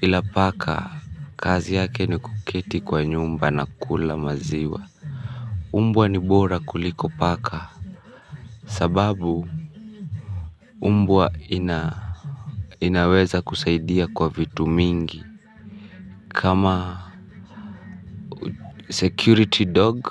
ila paka kazi yake ni kuketi kwa nyumba na kukula maziwa. Umbwa ni bora kuliko paka. Sababu umbwa inaweza kusaidia kwa vitu mingi. Kama security dog.